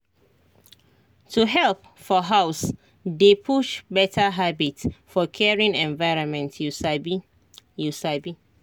to help for house dey push better habit for caring environment you sabi you sabi